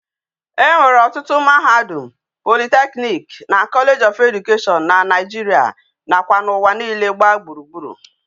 E nwere otutu mahadum, polytechnic na college of education na naijiria na kwa na uwa niile gba gburugburu